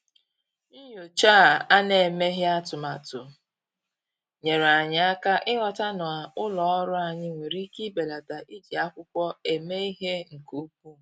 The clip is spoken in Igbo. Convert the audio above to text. Nyòchá à nà-èméghị́ atụ́matụ nyèèrè anyị́ áká ị́ghọ́tà na ụ́lọ́ ọ́rụ́ anyị́ nwere ike ibèlàtá iji ákwụ́kwọ́ èmé ìhè nke ukwuu.